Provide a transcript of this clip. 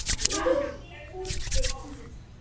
Rúna út við dyr.